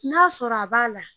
N'a sɔrɔ a b'a la